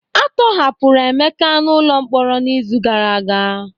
A tọhapụrụ Emeka n'ụlọ mkpọrọ n'izu gara aga